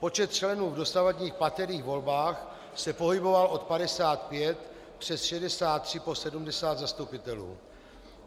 Počet členů v dosavadních paterých volbách se pohyboval od 55 přes 63 po 70 zastupitelů.